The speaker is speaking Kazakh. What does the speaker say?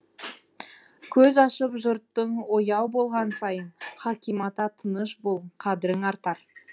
көз ашып жұртың ояу болған сайын хаким ата тыныш бол қадірің артар